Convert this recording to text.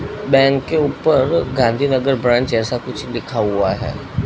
Bank के ऊपर Gandhinagar branch ऐसा कुछ लिखा हुआ है।